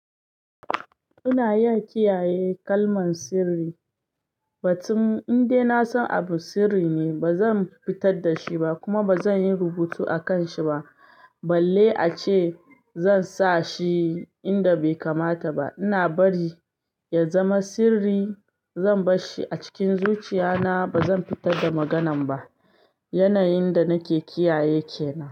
Ina iya kiyaye kalmar sirri. Batun indai na san abu sirri ne, ba zan fittar da shi ba kuma ba zan yi rubutu akanshi ba. Balle ace zan sa shi inda bai kamata ba. Ina bari ya zama sirri. Zan bar shi a cikin zuciya na. Ba zan fitar da maganan ba. Yanayin da nake kiyaye kenan.